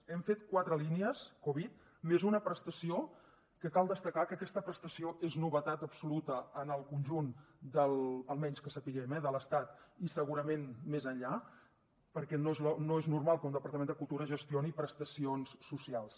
hem fet quatre línies covid més una prestació que cal destacar que aquesta prestació és novetat absoluta en el conjunt almenys que sapiguem eh de l’estat i segurament més enllà perquè no és normal que un departament de cultura gestioni prestacions socials